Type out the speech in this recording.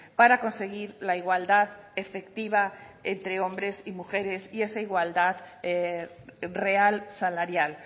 para conseguir la igualdad efectiva entre hombres y mujeres y esa igualdad real salarial